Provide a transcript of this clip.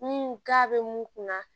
Ni k'a bɛ mun kunna